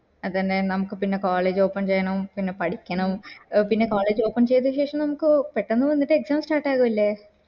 അതന്നെ നമക്ക് പിന്നെ college open ചെയ്യണം പിന്നെ പഠിക്കണം പിന്നെ college open ചെയ്ത ശേഷം നമക് പെട്ടന്ന് വന്നിട് exam start ആവൂ അല്ലെ